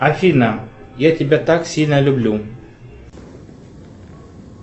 афина я тебя так сильно люблю